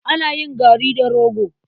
Ana yin gari da rogo.